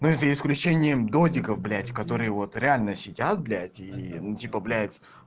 мы за исключением дротиков блять которые вот реально сидят блять и ну типа блять